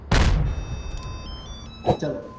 ચાલો